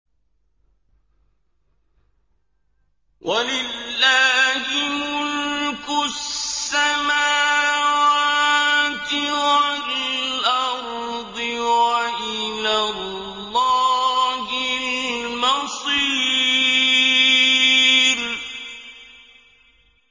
وَلِلَّهِ مُلْكُ السَّمَاوَاتِ وَالْأَرْضِ ۖ وَإِلَى اللَّهِ الْمَصِيرُ